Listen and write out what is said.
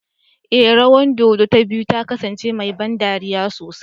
Ee, rawan dodo ta biyu ta kasance mai ban dariya sosai